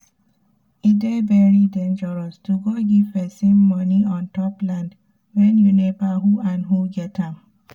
e dey very dengeros to go give pesin moni untop land wen u never who and who get am